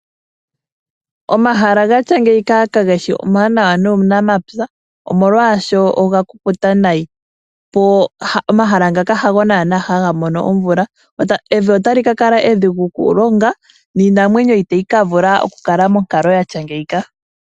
Omahala gatya ngeyi kageshi omawanawa nuunamapya omolwaaashono oga kukuta nayi. Omahala ngaka hago nande haga mono omvula. Evi otali kakala edhigu okulonga niinamwenyo itayi kakala monkalo yatya ngeyi.